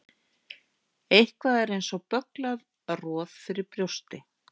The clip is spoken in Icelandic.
Eitthvað er eins og bögglað roð fyrir brjósti